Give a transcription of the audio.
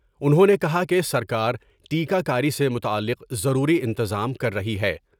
انھوں نے کہا کہ سر کارٹیکہ کاری سے متعلق ضروری انتظام کر رہی ہے ۔